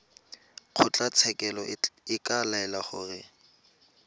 kgotlatshekelo e ka laela gore